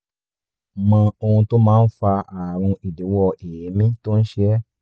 mọ ohun tó máa ń fa ààrùn idíwọ́ èémí tó ń ṣe ọ́